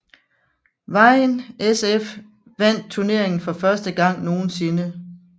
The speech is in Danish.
Vejen SF vandt turneringen for første gang nogensinde